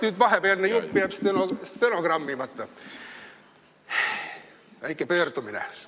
Nüüd tuleb väike pöördumine.